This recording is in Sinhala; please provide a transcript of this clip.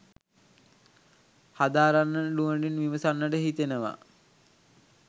හදාරන්නට නුවණින් විමසන්නට හිතෙනවා